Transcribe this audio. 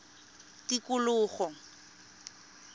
tikologo